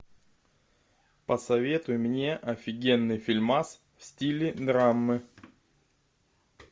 посоветуй мне офигенный фильмас в стиле драмы